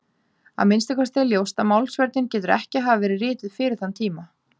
Að minnsta kosti er ljóst að Málsvörnin getur ekki hafa verið rituð fyrir þann tíma.